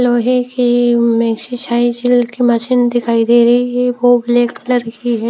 लोहे की में एक्सरसाइज की मशीन दिखाइ दे रही है वो ब्लैक कलर की है।